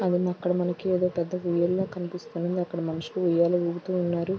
అక్కడ మనకి ఏదో పెద్ద ఊయల కనిపిస్తుంది. అక్కడ మనుషులు ఉయ్యాల ఊగుతూ ఉన్నారు.